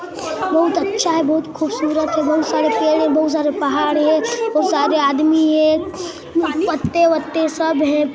बहुत अच्छा है बहुत खूबसूरत है बहुत सारे पेड़ है बहुत सारे पहाड़ हैं बहुत सारे आदमी हैं पते-वते सब हैं।